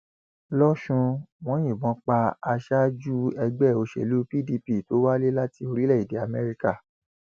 lọsùn wọn yìnbọn pa aṣáájú ẹgbẹ òṣèlú pdp tó wálé láti orílẹèdè amẹríkà